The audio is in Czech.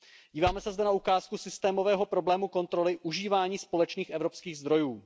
Díváme se zde na ukázku systémového problému kontroly užívání společných evropských zdrojů.